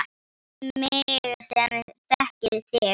Við mig sem þekki þig.